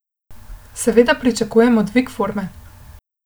Seveda pričakujem dvig forme.